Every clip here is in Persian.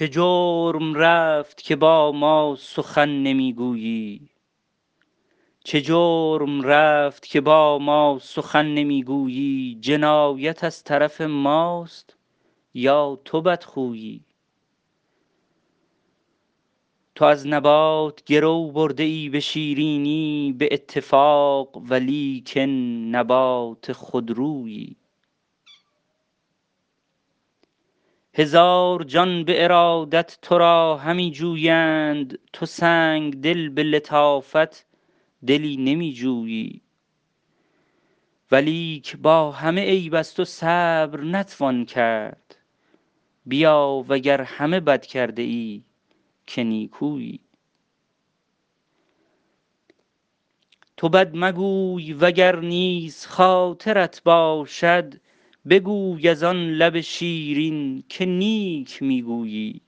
چه جرم رفت که با ما سخن نمی گویی جنایت از طرف ماست یا تو بدخویی تو از نبات گرو برده ای به شیرینی به اتفاق ولیکن نبات خودرویی هزار جان به ارادت تو را همی جویند تو سنگدل به لطافت دلی نمی جویی ولیک با همه عیب از تو صبر نتوان کرد بیا و گر همه بد کرده ای که نیکویی تو بد مگوی و گر نیز خاطرت باشد بگوی از آن لب شیرین که نیک می گویی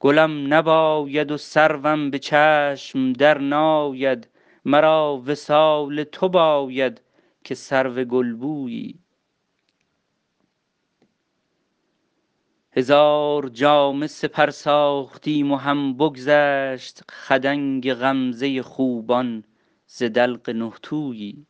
گلم نباید و سروم به چشم درناید مرا وصال تو باید که سرو گلبویی هزار جامه سپر ساختیم و هم بگذشت خدنگ غمزه خوبان ز دلق نه تویی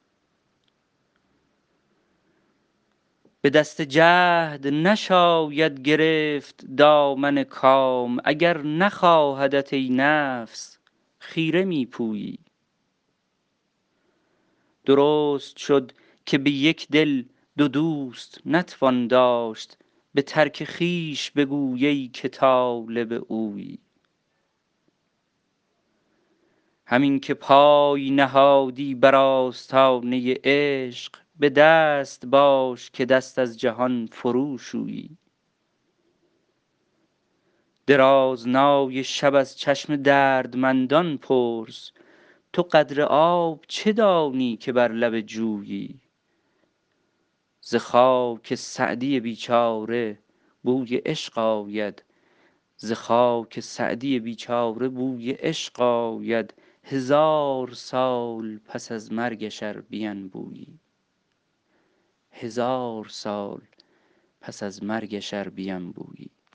به دست جهد نشاید گرفت دامن کام اگر نخواهدت ای نفس خیره می پویی درست شد که به یک دل دو دوست نتوان داشت به ترک خویش بگوی ای که طالب اویی همین که پای نهادی بر آستانه عشق به دست باش که دست از جهان فروشویی درازنای شب از چشم دردمندان پرس تو قدر آب چه دانی که بر لب جویی ز خاک سعدی بیچاره بوی عشق آید هزار سال پس از مرگش ار بینبویی